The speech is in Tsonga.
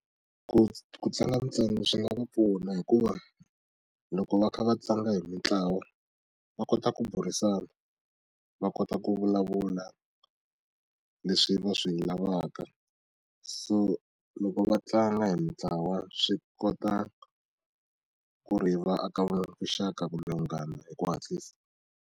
Ku tlanga ntsena swi nga va pfuna hikuva loko va kha va tlanga hi mitlawa va kota ku burisana va kota ku vulavula leswi va swi lavaka so loko va tlanga hi mitlawa swi kota ku ri va aka vuxaka kumbe vunghana hi ku hatlisa.